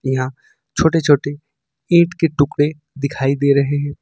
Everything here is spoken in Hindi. यहा छोटी छोटी ईंट के टुकड़े दिखाई दे रहे हैं।